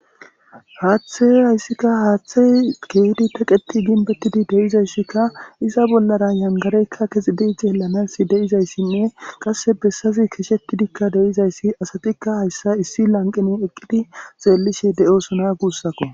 Haaththe hayssikka haaththe keedi teqeti ginbettidi deyizayssikka iza bollara yangareykka kezidi zeelanas deizayssinne qasse bessazi keeshetidikka deizayssi asatikka hayssa issi lanqini eqqidi zeellishe de'osona guussakko.